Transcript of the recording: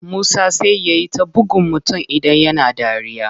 Musa sai yai ta buggun mutum idan yana dariya.